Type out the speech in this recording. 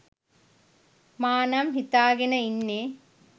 මා නම් හිතාගෙන ඉන්නේ.